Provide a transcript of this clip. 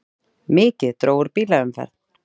Mikið dró úr bílaumferð